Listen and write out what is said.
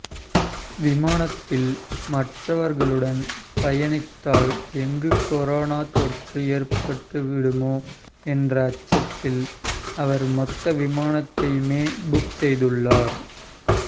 விமானத்தில் மற்றவர்களுடன் பயணித்தால் எங்கு கொரோனா தொற்று ஏற்பட்டுவிடுமோ என்ற அச்சத்தில் அவர் மொத்த விமானத்தையுமே புக் செய்துள்ளார்